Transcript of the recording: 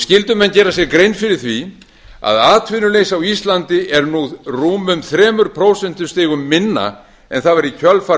skyldu menn gera sér grein fyrir því að atvinnuleysi á íslandi er nú rúmum þremur prósentustigum minna en það fara kjölfar